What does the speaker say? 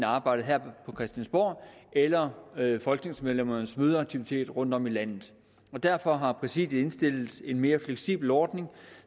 arbejdet her på christiansborg eller folketingsmedlemmernes mødeaktiviteter rundtom i landet derfor har præsidiet indstillet til en mere fleksibel ordning